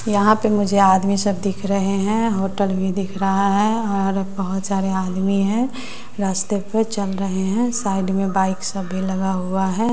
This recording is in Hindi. यहां पे मुझे आदमी सब दिख रहे हैं होटल भी दिख रहा है और बहोत सारे आदमी हैं रस्ते पे चल रहे हैं साइड में बाइक सब भी लगा हुआ है।